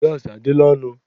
Gaasị adịla ọnụ.